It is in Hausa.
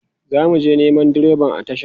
zamuje Neman direban a tasha